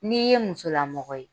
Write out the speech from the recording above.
N'i ye musolamɔgɔ ye